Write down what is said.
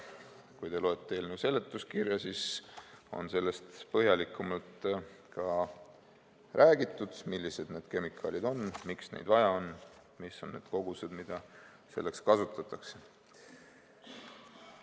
Kui te loete eelnõu seletuskirja, siis seal on põhjalikumalt räägitud, millised need kemikaalid on, miks neid vaja on ja kui suured on kogused, mida kasutatakse.